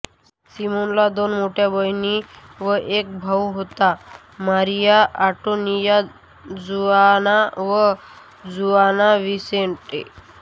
सिमोनला दोन मोठ्या बहिणी व एक भाउ होता मारिया अँटोनिया जुआना व जुआन विसेंटे